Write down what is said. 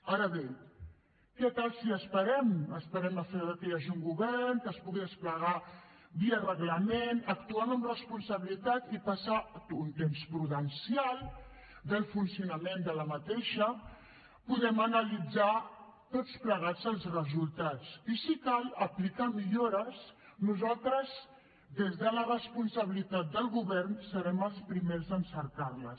ara bé què tal si esperem esperem a què hi hagi un govern que es pugui desplegar via reglament actuem amb responsabilitat i passat un temps prudencial del seu funcionament podem analitzar tots plegats els resultats i si cal aplicar millores nosaltres des de la responsabilitat del govern serem els primers en cercar les